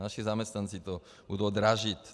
Naši zaměstnanci to budou dražit.